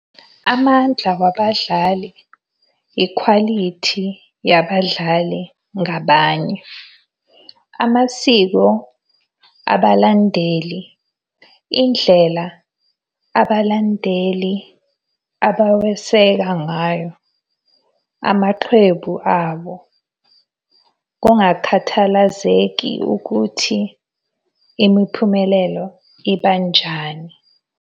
Amandla wabadlali, ikhwalithi yabadlali ngabanye. Amasiko abalandeli, indlela abalandeli abaweseka ngayo amaqembu abo kungakhathalazeki ukuthi imiphumelelo ibanjani.